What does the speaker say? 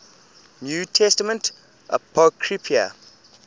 new testament apocrypha